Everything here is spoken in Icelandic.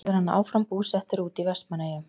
Verður hann áfram búsettur úti í Vestmannaeyjum?